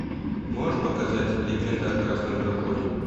можешь показать легенда о красном драконе